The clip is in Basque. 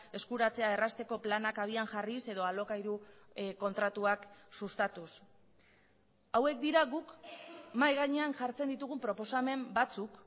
eskuratzea errazteko planak abian jarriz edo alokairu kontratuak sustatuz hauek dira guk mahai gainean jartzen ditugun proposamen batzuk